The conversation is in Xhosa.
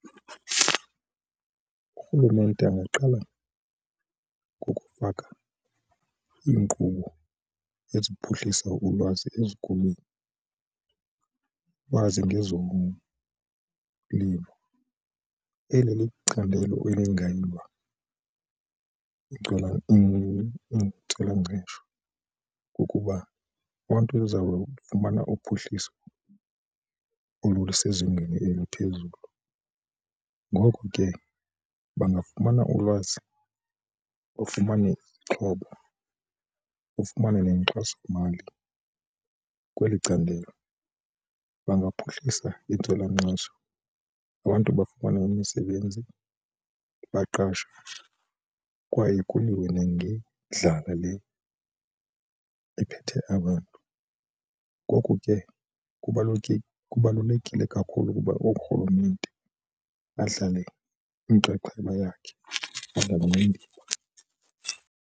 Urhulumente angaqala ngokufaka iinkqubo eziphuhlisa ulwazi ezikolweni, ulwazi ngezolimo. Eli licandelo intswelangqesho kukuba umntu uzawufumana uphuhliso olusezingeni eliphezulu ngoko ke bangafumana ulwazi bafumane izixhobo, bafumane nenkxasomali kweli candelo. Bangaphuhlisa intswelangqesho kubantu bafumane imisebenzi baqashwe kwaye kuliwe nangendala le ephethe abantu. Ngoku ke kubalulekile kakhulu ukuba urhulumente adlale inxaxheba yakhe .